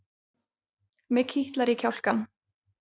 Mig kitlar í kjálkann.